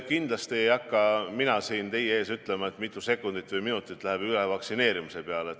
Kindlasti ei hakka mina siin teie ees ütlema, mitu sekundit või minutit läheb üle vaktsineerimise peale.